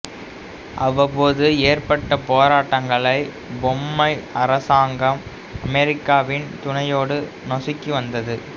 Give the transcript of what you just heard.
அவ்வபோது ஏற்பட்ட போராட்டங்களை பொம்மை அரசாங்கம் அமெரிக்காவின் துணையோடு நசுக்கி வந்தது